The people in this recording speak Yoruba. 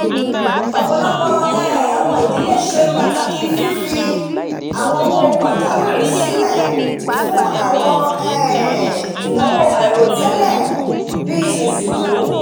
ọ̀pọ̀lọpọ̀ um àwọn idílé ṣe pàtàkì fífi àwọn owó pajàwìrì silẹ̀ fún àwọn um ináwó àìròtẹ́lẹ̀ bíi ìsìnkú